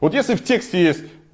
вот если в тексте есть